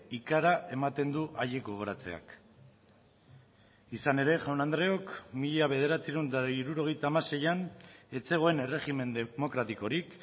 ikara ematen du haiek gogoratzeak izan ere jaun andreok mila bederatziehun eta hirurogeita hamaseian ez zegoen erregimen demokratikorik